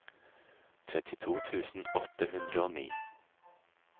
trettito tusen åtte hundre og ni